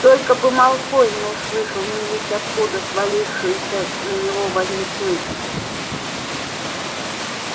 только бы малфой не услышал невесть откуда свалившуюся на него валентинку